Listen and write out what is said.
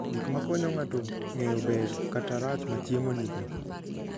Gik makonyo ng'ato ng'eyo ber kata rach ma chiemo nigo.